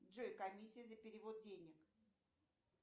джой комиссия за перевод денег